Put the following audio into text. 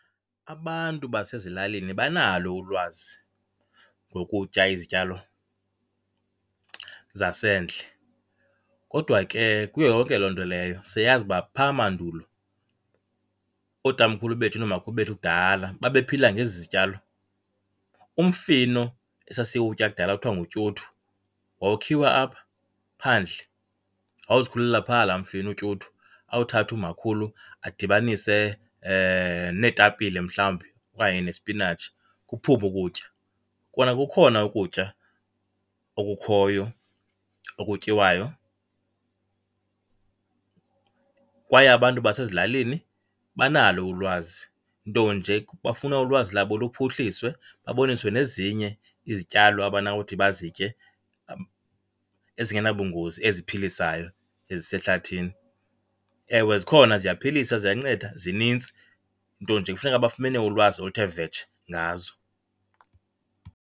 Abantu basezilalini banalo ulwazi ngokutya izityalo zasendle, kodwa ke kuyo yonke loo nto leyo siyayazi uba pha mandulo ootamkhulu bethu noomakhulu bethu kudala babephila ngezi zityalo. Umfino esasiwutya kudala ekuthiwa ngutyuthu wawukhiwa apha phandle, wawuzikhulela phaa la mfino utyuthu, awuthathe umakhulu adibanise neetapile mhlawumbi okanye nesipinatshi kuphume ukutya. Kona kukhona ukutya okukhoyo okutyiwayo kwaye abantu basezilalini banalo ulwazi nto nje bafuna ulwazi labo luphuhliswe baboniswe nezinye izityalo abanawuthi bazitye ezingenabungozi eziphilisayo ezisehlathini. Ewe, zikhona ziyaphilisa ziyanceda zinintsi nto nje kufuneka bafumene ulwazi oluthe vetshe ngazo.